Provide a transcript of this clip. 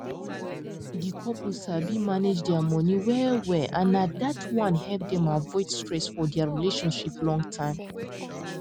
di couple sabi manage dia money wellwell and na dat one help dem avoid stress for dia relationship long term